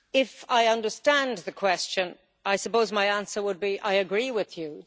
If I understand the question, I suppose my answer would be that I agree with you.